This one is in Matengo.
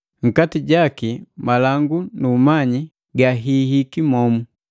Nkati jaki malangu nu umanyi gahihiki homu.